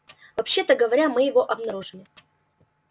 вообще-то говоря мы его обнаружили